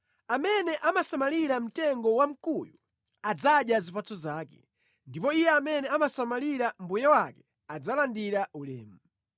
Amene amasamalira mtengo wamkuyu adzadya zipatso zake, ndipo iye amene amasamalira mbuye wake adzalandira ulemu.